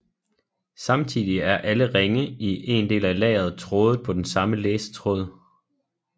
Samtidig er alle ringe i en del af lageret trådet på den samme læsetråd